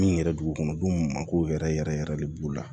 Min yɛrɛ dugukɔnɔ denw mako yɛrɛ yɛrɛ yɛrɛ yɛrɛ de b'u la